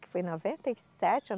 Que foi em noventa e sete